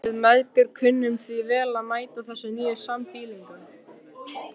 Við mæðgur kunnum því vel að meta þessa nýju sambýlinga.